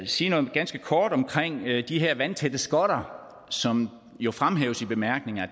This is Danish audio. sige noget ganske kort omkring de her vandtætte skotter som jo fremhæves i bemærkningerne